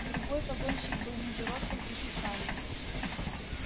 другой погонщик был ниже ростом и с усами